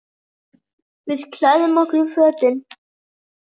Við klæðum okkur í fötin.